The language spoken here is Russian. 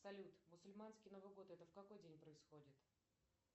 салют масульманский новый год это в какой день происходит